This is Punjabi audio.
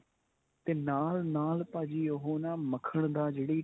ਤੇ ਨਾਲ ਨਾਲ ਭਾਜੀ ਉਹ ਨਾ ਮੱਖਣ ਦਾ ਜਿਹੜੀ